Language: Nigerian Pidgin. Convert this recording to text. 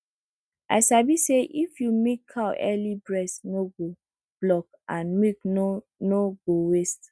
i sabi say if you milk cow early breast no go block and milk no no go waste